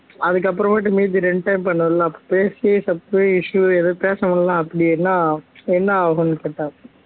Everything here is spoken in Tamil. அதுக்கப்பறமேட்டு மீதி ரெண்டு time பண்ணன்ல அப்ப பேசி issue ஏதும் பேசமுடில அப்படின்னா என்ன ஆகும்னு கேட்டாரு